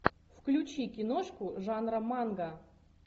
включи киношку жанра манга